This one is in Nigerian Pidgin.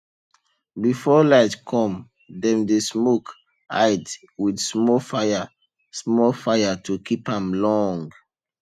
before light come dem dey smoke hide with small fire small fire to keep am long